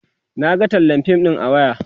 Naga tallar fim ɗin a waya